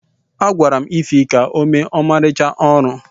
A gwara Ify ka o mee ọmarịcha ọrụ